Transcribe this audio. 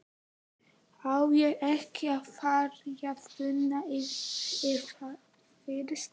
Á ég ekki að ferja frúna yfir fyrst?